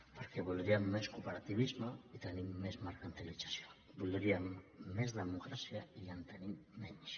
perquè voldríem més cooperativisme i tenim més mercantilització voldríem més democràcia i en tenim menys